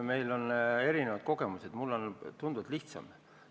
Meil on erinevad kogemused, mul on tunduvalt lihtsam.